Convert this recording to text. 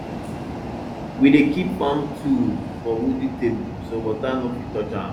we dey kip farm tools for wooden table so water no fit touch am